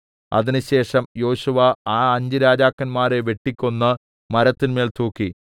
അതിന് ശേഷം യോശുവ ആ അഞ്ച് രാജാക്കന്മരെ വെട്ടിക്കൊന്ന് മരത്തിന്മേൽ തൂക്കി